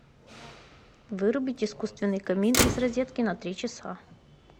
вырубить искусственный камин из розетки на три часа